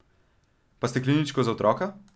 Pa stekleničko za otroka?